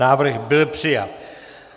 Návrh byl přijat.